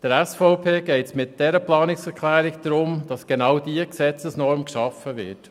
Der SVP geht es mit dieser Planungserklärung darum, dass genau diese Gesetzesnorm geschaffen wird.